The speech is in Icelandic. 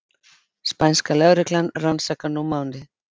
Spænska lögreglan rannsakar nú málið